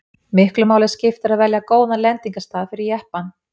miklu máli skipti að velja góðan lendingarstað fyrir jeppann